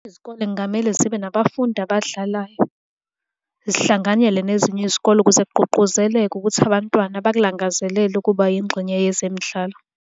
Izikole kungamele zibe nabafundi abadlalayo, zihlanganyele nezinye izikole ukuze kugqugquzeleke ukuthi abantwana bakulangazelele ukuba yingxenye yezemidlalo.